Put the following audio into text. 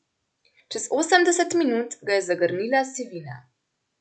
Čez osemdeset minut ga je zagrnila sivina.